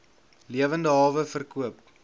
lewende hawe verkoop